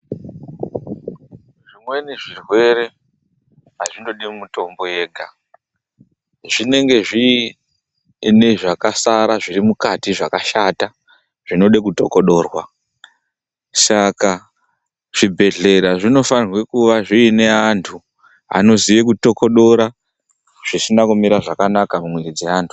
Zvimweni zvirwere azvindodi mutombo yega, zvinenge zviine zvakasara zvirimukati zvakashata, zvinode kutokodorwa. Saka zvibhedhlera zvinofanirwe kuva zvine andu anoziye kutododora zvisina kumira zvakanaka mumwiri dzeandu.